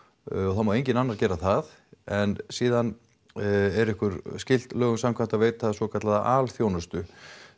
það má enginn annar gera það en síðan er ykkur skylt lögum samkvæmt að veita svokallaða alþjónustu